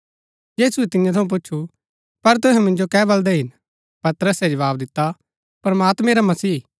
यीशुऐ तियां थऊँ पूच्छु पर तुहै मिन्जो कै बलदै हिन पतरसे जवाव दिता प्रमात्मैं रा मसीह